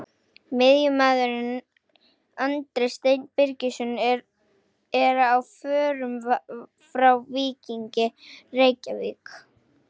Miðjumaðurinn Andri Steinn Birgisson er á förum frá Víkingi Reykjavík.